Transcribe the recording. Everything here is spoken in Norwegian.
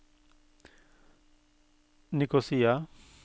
Nikosia